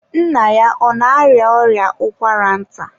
nna ya ọ na-arịa ọrịa ụkwara nta?